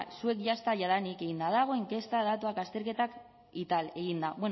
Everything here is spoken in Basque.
zuek jadanik eginda dago inkesta datuak azterketak y tal eginda